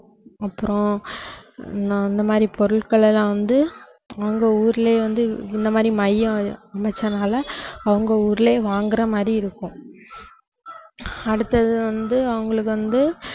அப்புறம் நான் அந்த மாதிரி பொருட்களெல்லாம் வந்து அவங்க ஊர்லயே வந்து இந்த மாதிரி மையம் அமைச்சதுனால அவங்க ஊர்லயே வாங்கற மாதிரி இருக்கும் அடுத்தது வந்து அவங்களுக்கு வந்து